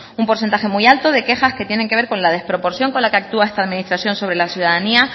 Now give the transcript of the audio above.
un porcentaje muy alto de quejas que tienen que ver con la desproporción con la que actúa esta administración sobre la ciudadanía